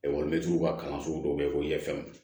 Ekɔlimɛtiriw ka kalan sugu dɔw bɛ fɔ yɛlɛfɛnw